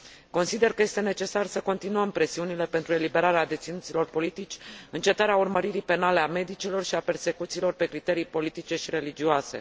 Consider că este necesar să continuăm presiunile pentru eliberarea deținuților politici, încetarea urmăririi penale a medicilor și a persecuțiilor pe criterii politice și religioase.